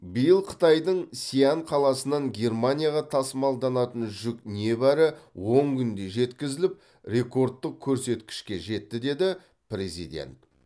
биыл қытайдың сиань қаласынан германияға тасымалданатын жүк небәрі он күнде жеткізіліп ректордтық көрсеткішке жетті деді президент